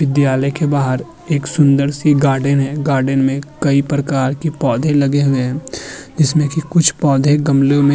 विद्यालय के बाहर एक सुंदर-सी गार्डेन है। गार्डेन में कई प्रकार के पौधें लगे हुए हैं जिसमें की कुछ पौधे गमलों में --